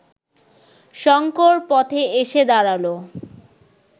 শঙ্কর পথে এসে দাঁড়াল